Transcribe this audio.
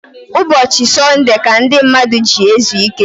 Ụbọchi Sunude ka ndi mmadu ji ezu ike